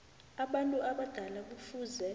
abantu abadala kufuze